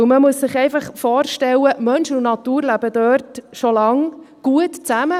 Man muss sich einfach vorstellen, dass Mensch und Natur dort schon lange gut zusammenleben.